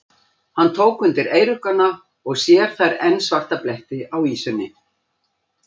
Hann tók undir eyruggana og sér þar enn svarta bletti á ýsunni.